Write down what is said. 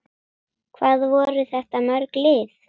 Hvað voru þetta mörg lið?